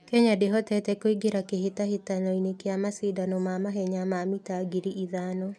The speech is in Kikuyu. Kenya ndĩhotete kũingĩra kĩhĩtahĩtano-inĩ kĩa macindano ma mahenya ma mita ngiri ithano.